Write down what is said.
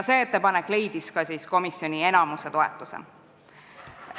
See ettepanek leidis ka komisjoni enamuse toetuse.